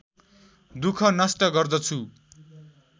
दुःख नष्ट गर्दछु